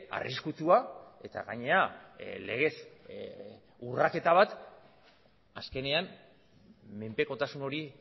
arriskutsua eta gainera legez urraketa bat azkenean menpekotasun hori